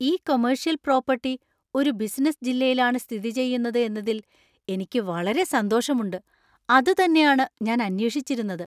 ഈ commercial property ഒരു business ജില്ലയിലാണ് സ്ഥിതിചെയ്യുന്നത് എന്നതിൽ എനിക്ക് വളരെ സന്തോഷമുണ്ട്. അതുതന്നെയാണ് ഞാൻ അന്വേഷിച്ചിരുന്നത്.